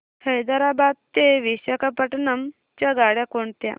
हैदराबाद ते विशाखापट्ण्णम च्या गाड्या कोणत्या